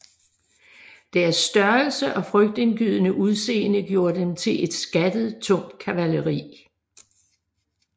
Deres størrelse og frygtindgydende udseende gjorde dem til et skattet tungt kavaleri